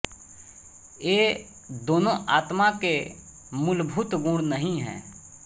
ये दोनों आत्मा के मूलभूत गुण नहीं हैं